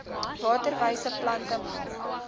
waterwyse plante maak